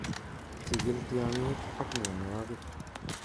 Chikil tyaangik ak myanwokik